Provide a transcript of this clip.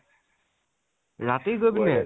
ৰাতি গৈ পিনে?